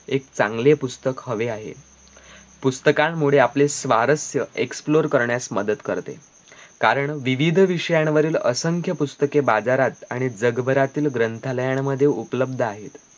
एक चांगले पुस्तक हवे आहे पुस्तकांमुळे आपले सारस्यं explore करण्यास मदत करते कारण विविध विषयांवरील असंख्य पुस्तके बाजारात आणि जगभरातील ग्रंथालयांमध्ये उपलद्ध आहेत